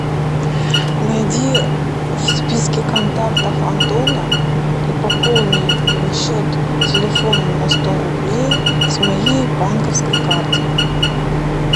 найди в списке контактов антона и пополни его счет телефона на сто рублей с моей банковской карты